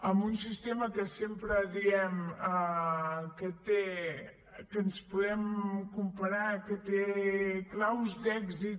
amb un sistema amb què sempre diem que ens podem comparar que té claus d’èxit